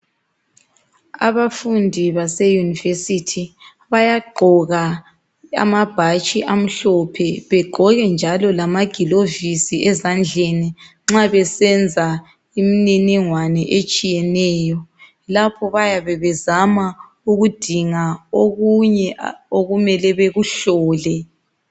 Abafundi base University bayagqoka amabhatshi amhlophe bagqoke njalo lamagilovisi ezandleni nxa besenza imininingwane etshiyeneyo. Lapho bayabe bezama ukudinga okunye okumele bekuhlole.